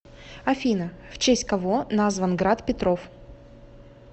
афина в честь кого назван град петров